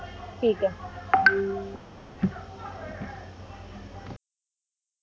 ਠੀਕ ਹੈ